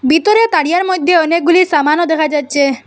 ভিতরে তারিয়ার মইধ্যে অনেকগুলি সামানও দেখা যাচ্ছে।